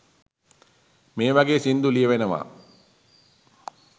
මේ වගේ සින්දු ලියැවෙනවා